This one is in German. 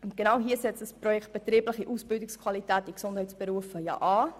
Genau hier setzt das Projekt «Betriebliche Ausbildungsqualität in den Gesundheitsberufen» an.